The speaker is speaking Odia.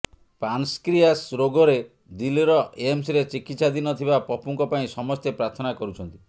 ପାନ୍କ୍ରିୟାସ ରୋଗରେ ଦିଲ୍ଲୀ ଏମ୍ସରେ ଚିକିତ୍ସାଧୀନ ଥିବା ପପୁଙ୍କ ପାଇଁ ସମସ୍ତେ ପ୍ରାର୍ଥନା କରୁଛନ୍ତି